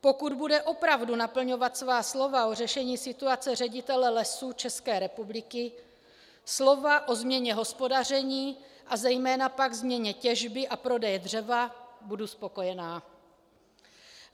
Pokud bude opravdu naplňovat svá slova o řešení situace ředitele Lesů České republiky, slova o změně hospodaření a zejména pak změně těžby a prodeje dřeva, budu spokojená.